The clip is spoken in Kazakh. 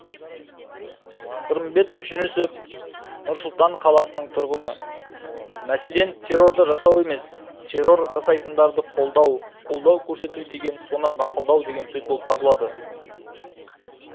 сырымбет жүнісов нұр сұлтан қаласының тұрғыны мәселен террорды жасау емес террор жасайтындарды қолдау қолдау көрсету деген соны мақұлдау деген сөз болып табылады